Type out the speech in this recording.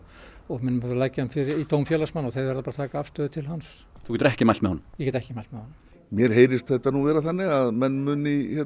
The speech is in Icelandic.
mun leggja hann í dóm félagsmanna og þeir verða að taka afstöðu til hans þú getur ekki mælt með honum ég get ekki mælt með honum mér heyrist þetta vera þannig að menn muni